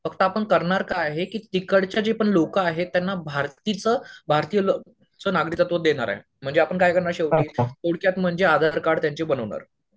फक्त आपण करणार काय आहे तिकडच्या जे पण लोकं आहे त्यांना भारतीचं नागरिकत्व देणार आहे म्हेणजे आपण काय करणार शेवटी थोडक्यात म्हणजे आधार कार्ड त्यांचे बनवणार